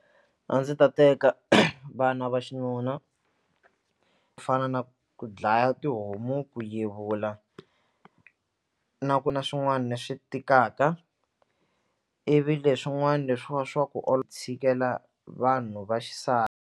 A ndzi ta teka vana va xinuna ku fana na ku dlaya tihomu ku yevula na ku na swin'wani swi tikaka ivi leswin'wana leswiya swa ku tshikela vanhu va .